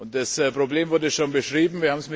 Das Problem wurde schon beschrieben.